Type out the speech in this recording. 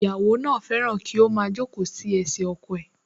Ìyàwó náà fẹ́ràn kí ó máa jókòó sí ẹsẹ̀ ọkọ̀ ẹ̀